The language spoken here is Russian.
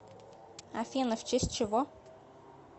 афина в честь чего